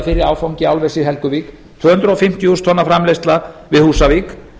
fyrri áfangi álvers í helguvík tvö hundruð fimmtíu þúsund tonna framleiðsla við húsavík